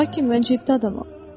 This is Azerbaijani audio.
Lakin mən ciddi adamam.